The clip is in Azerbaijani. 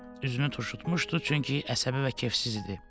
Üzünü turşutmuşdu, çünki əsəbi və kefsiz idi.